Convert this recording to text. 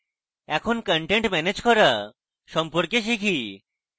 এখন content manage করা সম্পর্কে শিখব